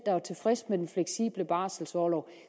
der var tilfredse med den fleksible barselorlov